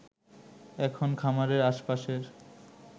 এখন খামারের আশ-পাশের